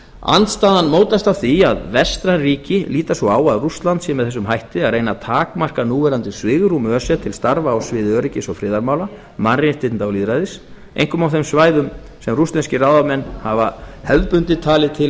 andstaðan mótast af því að vestræn ríki líta svo á að rússland sé með þessum hætti að reyna að takmarka núverandi svigrúm öse til starfa á sviði öryggis og friðarmála mannréttinda og lýðræðis einkum á þeim svæðum sem rússneskir ráðamenn hafa hefðbundið talið